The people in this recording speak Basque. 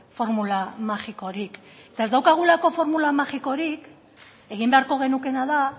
formula magikorik eta ez daukagulako formula magikorik egin beharko genukeena da